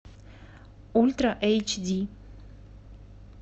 ультра эйч ди